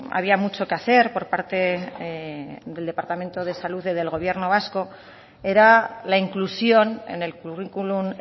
había mucho que hacer por parte del departamento de salud u del gobierno vasco era la inclusión en el currículum